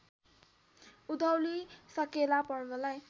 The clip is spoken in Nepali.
उधौली साकेला पर्वलाई